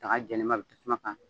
Kan ka tasuma kan